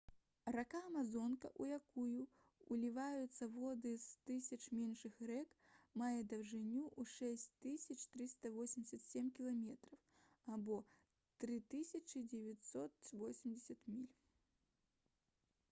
рака амазонка у якую ўліваюцца воды з тысяч меншых рэк мае даўжыню ў 6387 км 3980 міль